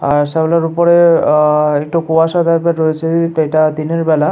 আর শেওলার ওপরে আ আ একটু কুয়াশা টাইপের রয়েছে এইটা দিনের বেলা।